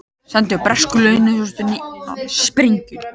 Sendu bresku leyniþjónustunni sprengju